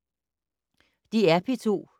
DR P2